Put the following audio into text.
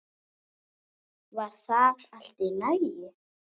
Var það allt í lagi?